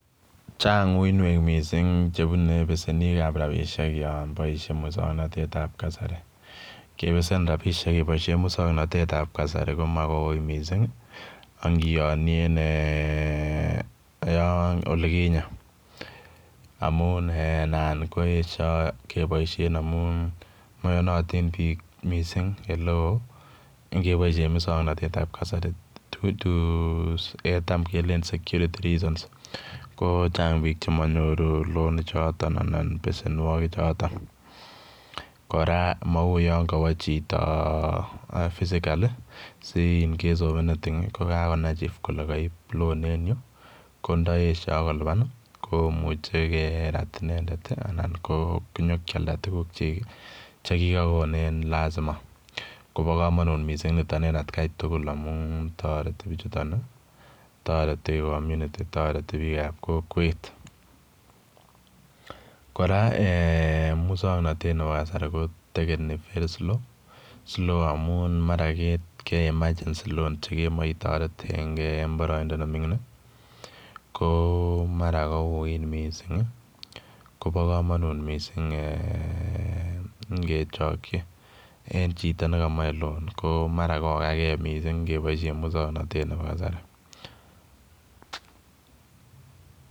Chang uinwek mising chepunei besebik ab rabushek yon boishen musognotetab kasari. kebesen rabishek keboishe musognotetab kasari, komaui anyun mising, ngiyonie olekinye amun nan koeshoi keboishe amun mayonati biik mising eng ele oo.ngeboishe musognotetab kasai, tam kelen securty reasons ko chang biik che manyoru loni choton anan pesenwakik chu. Kora mou yo kawa chito, physically si in case of any thing ko kakonai chief kole kaip loan enyu. Ko ndo eshoi kolipan komuchei kerat inendet anan ko nyikealda tukukchi chekiyachei en lazima. Kobo komonut nitok mising eng atken tugul. Toreti bichutok, toreti community toreti biik ab kokwet. Kora eng musognatet neb kasari, ko takeni very slow amun mara ketinye emergency loan chekemace itaretengei ko mara kouit mising. Kobo komonut mising nge chokchi en chito ne kamachei loan ko mara kokagei mising ngeboishe musognatet nebo kasari.